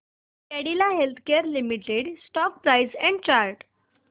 Cadila healthcare limited stock price and chart